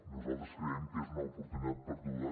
nosaltres creiem que és una oportunitat perduda